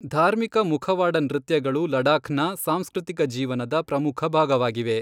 ಧಾರ್ಮಿಕ ಮುಖವಾಡ ನೃತ್ಯಗಳು ಲಡಾಖ್ನ ಸಾಂಸ್ಕೃತಿಕ ಜೀವನದ ಪ್ರಮುಖ ಭಾಗವಾಗಿವೆ.